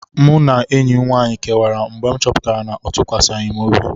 Mụ na enyi m nwaanyị kewara mgbe m chọpụtara na ọ tụkwasịghị m obi.